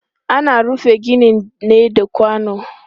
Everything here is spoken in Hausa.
Ana rufe gini ne da kwano.